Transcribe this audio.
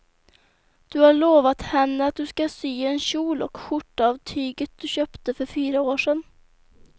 Du har lovat henne att du ska sy en kjol och skjorta av tyget du köpte för fyra år sedan.